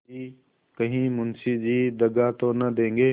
कि कहीं मुंशी जी दगा तो न देंगे